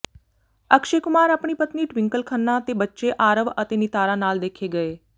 ਅਕਸ਼ੇ ਕੁਮਾਰ ਆਪਣੀ ਪਤਨੀ ਟਵਿੰਕਲ ਖੰਨਾ ਤੇ ਬੱਚੇ ਆਰਵ ਅਤੇ ਨਿਤਾਰਾ ਨਾਲ ਦੇਖੇ ਗਏ